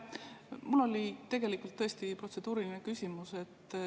Mul oli tegelikult tõesti protseduuriline küsimus.